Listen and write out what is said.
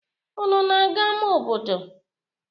Unu na-aga ama obodo?